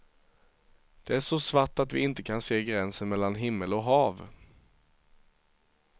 Det är så svart att vi inte kan se gränsen mellan himmel och hav.